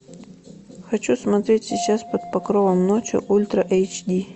хочу смотреть сейчас под покровом ночи ультра эйч ди